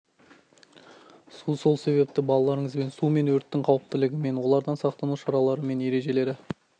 су сол себепті балаларыңызбен су мен өрттің қауіптілігі мен олардан сақтану шаралар мен ережелері